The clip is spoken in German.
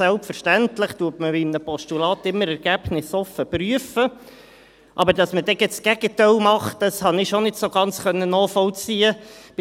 Selbstverständlich prüft man bei einem Postulat immer ergebnisoffen, aber dass man dann gerade das Gegenteil macht, habe ich schon nicht so ganz nachvollziehen können.